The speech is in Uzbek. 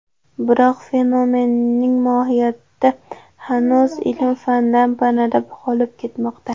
Biroq fenomenning mohiyati hanuz ilm-fandan panada qolib kelmoqda.